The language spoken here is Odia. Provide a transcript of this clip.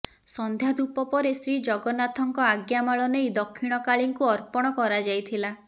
ସନ୍ଧ୍ୟା ଧୂପ ପରେ ଶ୍ରୀଜଗନ୍ନାଥଙ୍କ ଆଜ୍ଞାମାଳ ନେଇ ଦକ୍ଷିଣକାଳୀଙ୍କୁ ଅର୍ପଣ କରାଯାଇଥିଲା